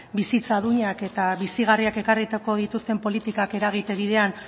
bizitza duinak eta bizigarriak ekarriko dituzten politikak eragite bidean